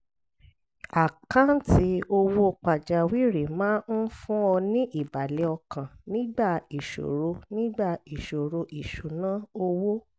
àkáǹtì owó pàjáwìrì máa ń fún ọ ní ìbàlẹ̀ ọkàn nígbà ìṣòro nígbà ìṣòro ìṣúnná owó